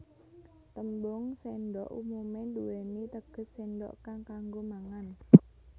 Tembung séndhok umumé nduwèni teges séndhok kang kanggo mangan